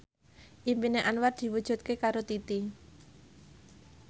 impine Anwar diwujudke karo Titi